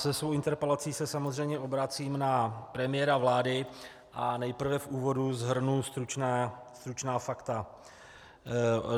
Se svou interpelací se samozřejmě obracím na premiéra vlády a nejprve v úvodu shrnu stručná fakta.